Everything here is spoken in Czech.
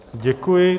Děkuji.